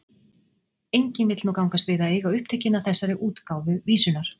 enginn vill nú gangast við að eiga upptökin að þessari útgáfu vísunnar